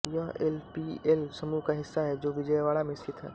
यह L E P L समूह का हिस्सा है जो विजयवाड़ा में स्थित है